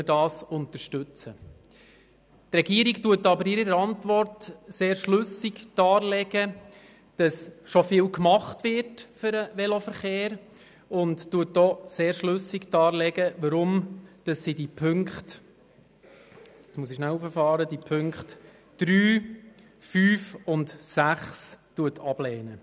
Die Regierung legt aber in ihrer Antwort sehr schlüssig dar, dass schon vieles für den Veloverkehr getan wird und lehnt deshalb die Punkte 3, 5 und 6 ab.